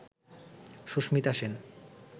Susmita Sen